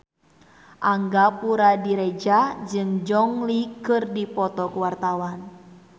Angga Puradiredja jeung Gong Li keur dipoto ku wartawan